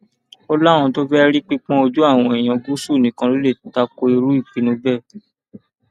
ó láwọn tó fẹẹ rí pípọn ojú àwọn èèyàn gúúsù nìkan ló lè ta ko irú ìpinnu bẹẹ